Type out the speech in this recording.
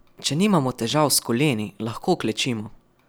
Če nimamo težav s koleni, lahko klečimo.